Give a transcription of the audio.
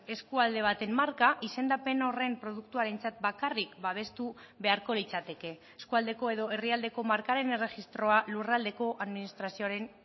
eskualde baten marka izendapen horren produktuarentzat bakarrik babestu beharko litzateke eskualdeko edo herrialdeko markaren erregistroa lurraldeko administrazioaren